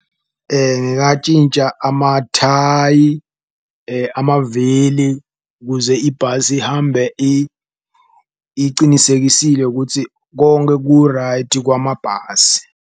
Amathayi amavili kuze ibhasi ihambe icinisekisile kutsi konke ku-right kwamabhasi.